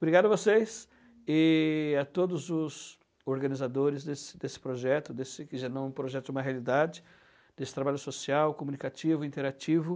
Obrigado a vocês e a todos os organizadores desse desse projeto, desse que já não é um projeto, é uma realidade, desse trabalho social, comunicativo, interativo.